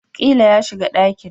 Ƙila ya shiga dakin